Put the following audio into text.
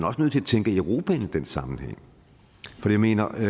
også nødt til at tænke europa ind i den sammenhæng for jeg mener at